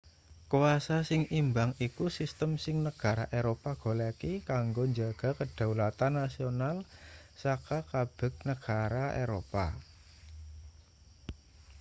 kwasa sing imbang iku sistem sing negara eropa goleki kanggo njaga kedaulatan nasional saka kabeg negara eropa